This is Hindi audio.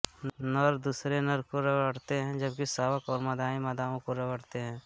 नर दूसरे नर को रगड़ते हैं जबकि शावक और मादाएं मादाओं को रगड़ते हैं